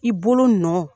I bolo nɔ